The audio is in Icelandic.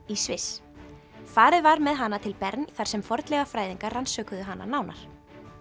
í Sviss farið var með hana til Bern þar sem fornleifafræðingar rannsökuðu hana nánar